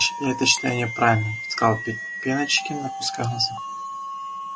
я это считаю неправильным сказал пеночкин опуская глаза